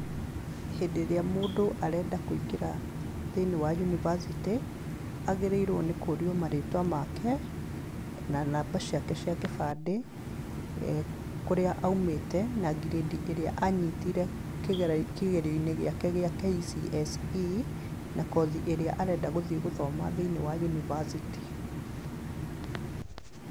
Hĩndĩ ĩrĩa mũndũ arenda kũingĩra thĩinĩ wa yunibacĩtĩ, agĩrĩirwo nĩ kũũrio marĩtwa make, na namba ciake cia kĩbandĩ, kũrĩa aumĩte na grade ĩrĩa a nyitire kĩgerio-inĩ gĩake gĩa KCSE, na kothi ĩrĩa arenda gũthiĩ gũthoma thĩinĩ wa university.